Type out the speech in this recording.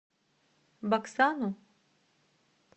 баксану